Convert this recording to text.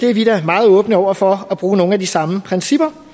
er vi da meget åbne over for at bruge nogle af de samme principper